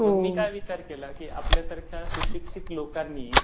म्हणून मी काय विचार केला, की आपल्यासारख्या सुशिक्षित लोकांनी, जर आता मी त्याच भागात काम करतोय.